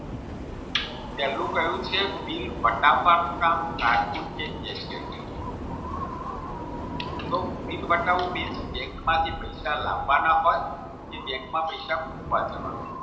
પહેલું કહ્યું છે બિલ વટવાનું કામ બિલ વાતાવવું બી બેંકમાંથી પૈસા લાવવાના હોય કે બેંકમાં પૈસા મુકવા જવાનું હોય